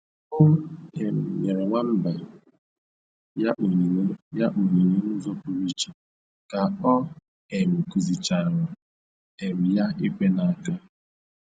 O um nyere nwamba ya onyinye ya onyinye n'ụzọ pụrụ iche ka ọ um kụzichaara um ya ikwe n'aka